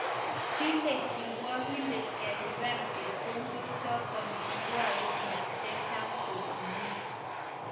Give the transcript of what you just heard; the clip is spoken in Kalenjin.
Kile kirwakindet kelipan chepkondok chotok kwae bik chechang kotunis.